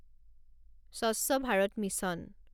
স্বচ্ছ ভাৰত মিছন